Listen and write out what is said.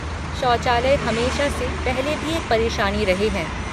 शौचालय हमेशा से पहले भी एक परेशानी रहे हैं।